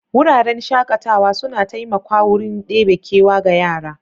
Wuraren shaƙatawa suna taimakwa wurin ɗebe kewa ga yara.